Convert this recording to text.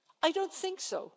I don't think so.